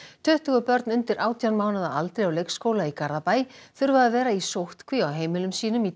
tuttugu börn undir átján mánaða aldri á leikskóla í Garðabæ þurfa að vera í sóttkví á heimilum sínum í